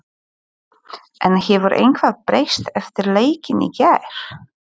En hefur eitthvað breyst eftir leikinn í gær?